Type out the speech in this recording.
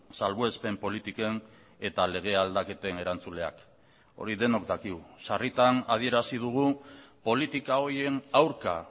salbuespen politiken eta lege aldaketen erantzuleak hori denok dakigu sarritan adierazi dugu politika horien aurka